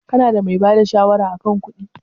Ka na da mai bada shawara a kan kuɗi?